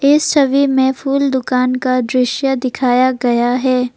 इस छवि में फूल दुकान का दृश्य दिखाया गया है।